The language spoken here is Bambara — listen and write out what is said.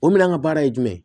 O minɛn ka baara ye jumɛn ye